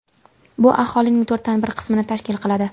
Bu aholining to‘rtdan bir qismini tashkil qiladi.